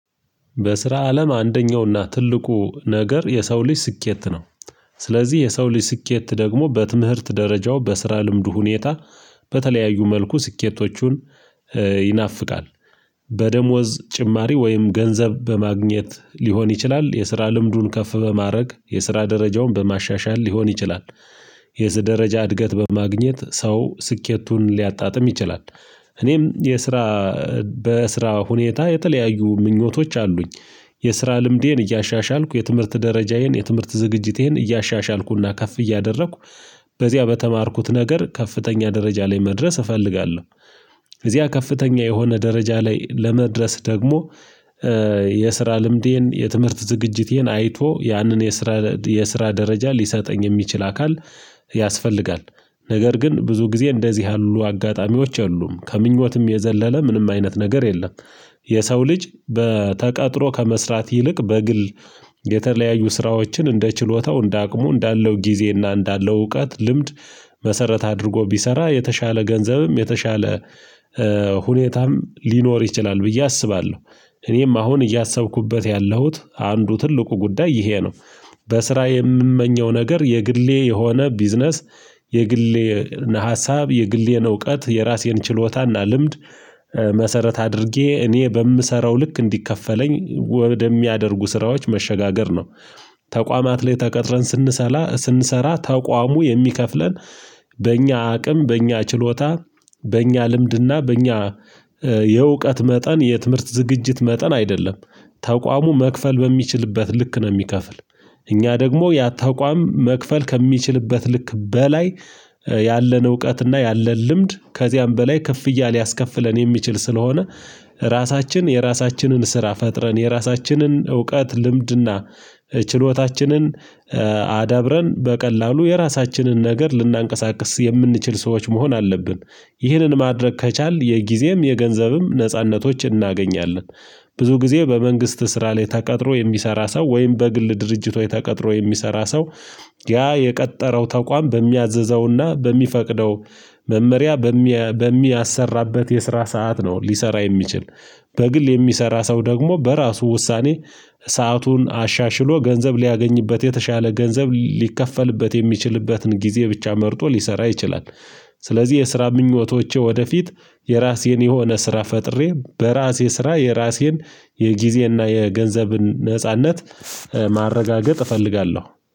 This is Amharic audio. በስራ አለም አንደኛውና ትልቁ ነገር የሰው ልጅ ስኬት ነው። ስለዚህ የሰው ልጅ ስኬት ደግሞ በትምህርት ደረጃው በስራ ልምዱ ሁኔታ በተለያዩ መልኩ ስኬቶቹን ይናፍቃል። በደሞዝ ጭማሪ ወይም ገንዘብ በማግኘት ሊሆን ይችላል የስራ ልምዱን ከፍ በማድረግ የስራ ደረጃውን በማሻሻል ሊሆን ይችላል። የዚህ ደረጃ እድገት በማግኘት ሰው ስኬቱን ሊያጣጥም ይችላል። እኔም የስራ በስራ ሁኔታ የተለያዩ ምኞቶች አሉኝ። የስራ ልምዴን እያሻሻልኩ የትምህርት ደረጃዬን የትምህርት ዝግጅቴን እያሻሻልኩና ከፍ እያደረኩ በዚያ በተማርኩት ነገር ከፍተኛ ደረጃ ላይ መድረስ እፈልጋለሁ። እዚያ ከፍተኛ የሆነ ደረጃ ላይ ለመድረስ ደግሞ የስራ ልምዴን የትምህርት ዝግጅቴን አይቶ ያንን የስራ የስራ ደረጃ ሊሰጠኝ የሚችል አካል ያስፈልጋል። ነገር ግን ብዙ ጊዜ እንደዚህ ያሉ አጋጣሚዎች አሉ ከምኞትም የዘለለ ምንም አይነት ነገር የለም። የሰው ልጅ በተቀጥሮ ከመስራት ይልቅ በግል የተለያዩ ስራዎችን እንደ ችሎታው እንደ አቅሙ እንዳለው ጊዜና እንዳለው እውቀት ልምድ መሰረት አድርጎ ቢሰራ የተሻለ ገንዘብም የተሻለ ሁኔታም ሊኖር ይችላል ብዬ አስባለሁ። እኔም አሁን እያሰብኩበት ያለሁት አንዱ ትልቁ ጉዳይ ይሄ ነው። በስራ የምመኘው ነገር የግሌ የሆነ ቢዝነስ የግሌ ሀሳብ የግሌን እውቀት የራሴን ችሎታና ልምድ መሰረት አድርጌ እኔ በምሰራው ልክ እንዲከፈለኝ ወደሚያደርጉ ስራዎች መሸጋገር ነው። ተቋማት ላይ ተቀጥረን ስንሰራ ስንሰራ ተቋሙ የሚከፍለን በእኛ አቅም በእኛ ችሎታ በእኛ ልምድና በእኛ የእውቀት መጠን የትምህርት ዝግጅት መጠን አይደለም። ተቋሙ መክፈል በሚችልበት ልክ ነው የሚከፍል። እኛ ደግሞ ያ ተቋም መክፈል ከሚችልበት ልክ በላይ ያለን እውቀትና ያለን ልምድ ከዚያም በላይ ከፍ እያለ ያስከፍለን የሚችል ስለሆነ። ራሳችን የራሳችንን ስራ ፈጥረን የራሳችንን እውቀት ልምድና ችሎታችንን አዳብረን በቀላሉ የራሳችንን ነገር ልናንቀሳቅስ የምንችል ሰዎች መሆን አለብን። ይህንን ማድረግ ከቻልን የጊዜም የገንዘብም ነጻነቶች እናገኛለን። ብዙ ጊዜ በመንግስት ስራ ላይ ተቀጥሮ የሚሰራ ሰው ወይም በግል ድርጅቶች ተቀጥሮ የሚሰራ ሰው ያ የቀጠረው ተቋም በሚያዝዘውና በሚፈቅደው መመሪያ በሚያሰራበት የስራ ሰዓት ነው ሊሰራ የሚችል። በግል የሚሰራ ሰው ደግሞ በራሱ ውሳኔ ሰአቱን አሻሽሎ ገንዘብ ሊያገኝበት የተሻለ ገንዘብ ሊከፈልበት የሚችልበትን ጊዜ ብቻ መርጦ ሊሰራ ይችላል። ስለዚህ የስራ ምኞቶቼ ወደፊት የራሴን የሆነ ስራ ፈጥሬ በራሴ ስራ የራሴን የጊዜና የገንዘብን ነጻነት ማረጋገጥ እፈልጋለሁ